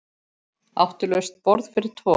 Áttu laust borð fyrir tvo?